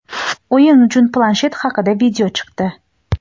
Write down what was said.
O‘yin uchun planshet haqida video chiqdi.